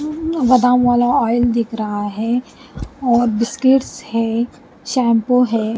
अम्ं बादाम वाला ऑयल दिख रहा है और बिस्किट्स है शैंपू है।